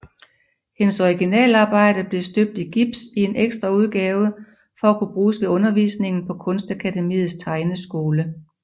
Hendes originalarbejde blev støbt i gips i en ekstraudgave for at kunne bruges ved undervisningen på Kunstakademiets tegneskole